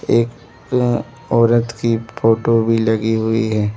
एक औरत की फोटो भी लगी हुई है।